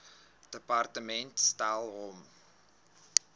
departement stel hom